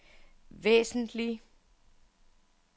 væsentlig